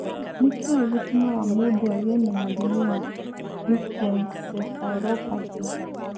Nĩ kĩĩ gĩtũmaga mũndũ agĩe na mũrimũ wa leukencephalopathy?